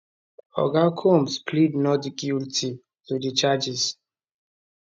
oga combs plead not guilty to di charges